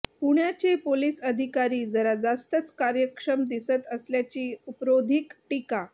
पुण्याचे पोलीस अधिकारी जरा जास्तच कार्यक्षम दिसत असल्याची उपरोधिक टीका